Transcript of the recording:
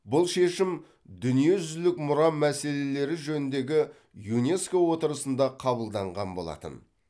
бұл шешім дүниежүзілік мұра мәселелері жөніндегі юнеско отырысында қабылданған болатын